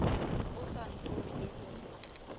o sa ntome le ho